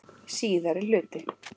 Síðari hluti